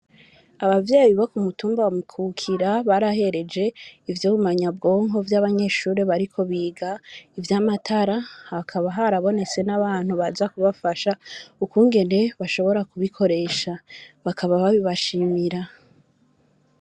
Abavyeye bibo ku mutumba bakukira barahereje ivyo bumanyabwonko vy'abanyeshuri bariko biga ivyo amatara hakaba harabonetse n'abantu baza kubafasha ukungene bashobora kubikoresha bakaba babibashimira.